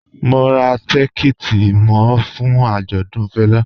Mò n rá tìkẹ̀tì mi fún ạjọdùn Fẹla